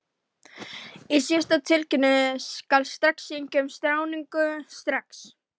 Í síðari tilvikinu skal synja um skráningu strax.